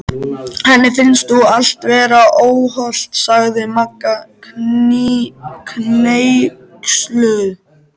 Henni finnst nú allt vera óhollt sagði Magga hneyksluð.